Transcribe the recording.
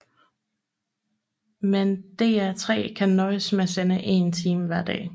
Men DR3 kan nøjes med at sende én time hver dag